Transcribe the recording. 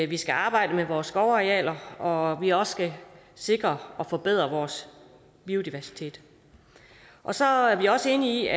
vi skal arbejde med vores skovarealer og vi også skal sikre og forbedre vores biodiversitet så er vi også enige